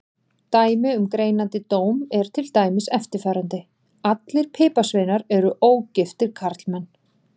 Dæmi um greinandi dóm er til dæmis eftirfarandi: Allir piparsveinar eru ógiftir karlmenn.